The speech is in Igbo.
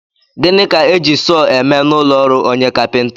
Gịnị ka e ji sọọ eme n'ụlọọrụ onye kapịnta?